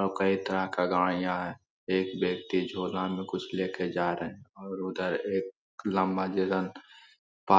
और कई तरह के गाड़ियां हैं एक व्यक्ति झूला में कुछ लेकर जा रहे हैं और उधर एक लंबा जगह --